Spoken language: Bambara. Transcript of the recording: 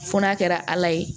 Fo n'a kɛra ala ye